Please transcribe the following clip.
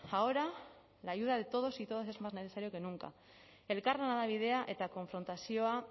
ahora la ayuda de todos y todas es más necesario que nunca elkarlana da bidea eta konfrontazioa